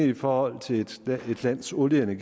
i forhold til et lands olie